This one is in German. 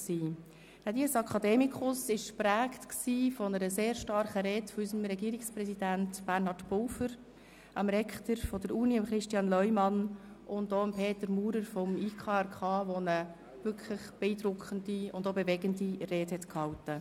Der Dies academicus war sehr stark geprägt von Reden unseres Regierungspräsidenten Bernhard Pulver, des Rektors der Universität, Christian Leumann, und auch von Peter Maurer, Präsident des Internationalen Komitees vom Roten Kreuz (IKRK), der ebenfalls eine beeindruckende und bewegende Rede hielt.